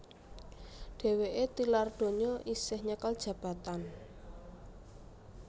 Dhèwèké tilar donya isih nyekel jabatan